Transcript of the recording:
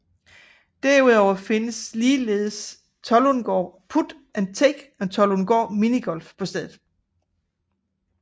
Derudover findes ligeledes Tollundgaard Put and Take og Tollundgaard Minigolf på stedet